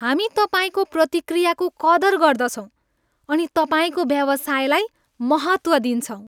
हामी तपाईँको प्रतिक्रियाको कदर गर्दछौँ अनि तपाईँको व्यवसायलाई महत्त्व दिन्छौँ।